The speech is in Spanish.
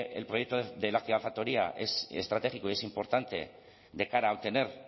el proyecto de la gigafactoría es estratégico y es importante de cara a obtener